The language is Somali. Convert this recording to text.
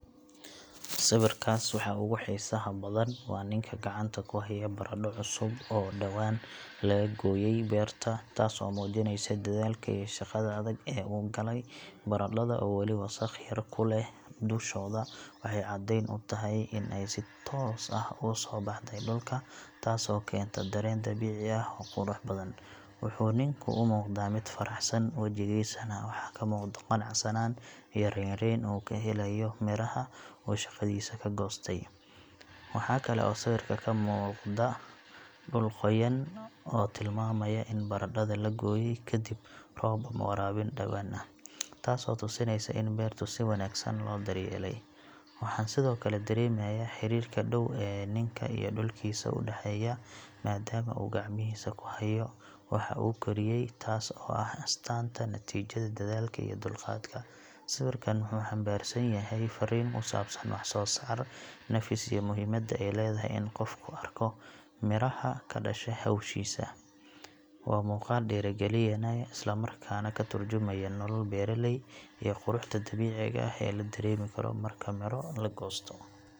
Sawirkaas waxa ugu xiisaha badan waa ninka gacanta ku haya baradho cusub oo dhawaan laga gooyay beerta, taas oo muujinaysa dadaalka iyo shaqada adag ee uu galay. Baradhada oo weli wasakh yar ku leh dushooda waxay caddeyn u tahay in ay si toos ah uga soo baxday dhulka, taasoo keenta dareen dabiici ah oo qurux badan. Wuxuu ninku u muuqdaa mid faraxsan, wejigiisana waxaa ka muuqda qanacsanaan iyo raynrayn uu ka helayo midhaha uu shaqadiisa ka goostay. Waxa kale oo sawirka ka muuqda dhul qoyan oo tilmaamaya in baradhada la gooyay kaddib roob ama waraabin dhawaan ah, taasoo tusinaysa in beertu si wanaagsan loo daryeelay. Waxaan sidoo kale dareemayaa xiriirka dhow ee ninka iyo dhulkiisa u dhexeeya, maadaama uu gacmihiisa ku hayo waxa uu koriyay, taas oo ah astaanta natiijada dadaalka iyo dulqaadka. Sawirkan wuxuu xambaarsan yahay farriin ku saabsan wax-soo-saar, nafis, iyo muhiimadda ay leedahay in qofku arko miraha ka dhasha hawshiisa. Waa muuqaal dhiirrigelinaya, isla markaana ka tarjumaya nolol beeraley iyo quruxda dabiiciga ah ee la dareemi karo marka midho la goosto.